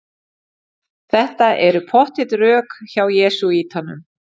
Þetta eru pottþétt rök hjá jesúítanum.